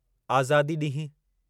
आज़ादी ॾींहुं